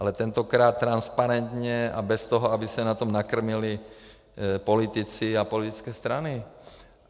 Ale tentokrát transparentně a bez toho, aby se na tom nakrmili politici a politické strany.